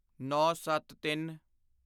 ਨੌਂਸੱਤਤਿੰਨ